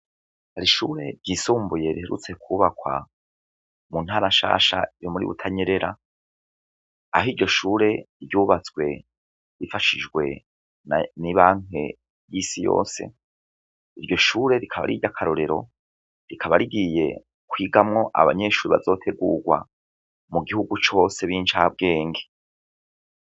Hari ishure ry'isumbuye riherutse kubakwa mu ntara nshasha yo muri Butanyerera aho iryo shure ryubatswe rifashijwe n'ibanki y'isi yose iryo shure rikaba ariry'akarorero rikaba rigiye kwigamwo abanyeshure bazotegurwa mu gihugu cose b'incabwenge.